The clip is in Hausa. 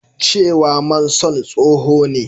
cewa Manson tsoho ne